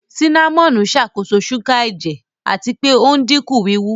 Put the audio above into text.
Sínámọ́nì ń ṣàkóso ṣúgà ẹ̀jẹ̀ àti pé ò ń dínkù wíwú